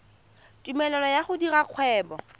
tumelelo ya go dira kgwebo